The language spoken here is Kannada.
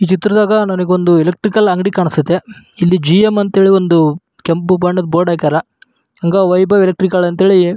ಈ ಚಿತ್ರದಾಗ ನಂಗೆ ಒಂದು ಎಲೆಕ್ಟ್ರಿಕಲ್ ಅಂಗಡಿ ಕಾನಾಸ್ತ್ಯತೆ. ಇಲ್ಲಿ ಜಿ ಮ್ ಅಂತ ಹೇಳಿ ಒಂದು ಕೆಂಪು ಬಣ್ಣದ ಬೋರ್ಡ್ ಹಾಕ್ಯಾರ. ಹಂಗ ವೈಭವ್ ಎಲೆಕ್ಟ್ರಿಕಲ್ ಅಂಥೇಳಿ --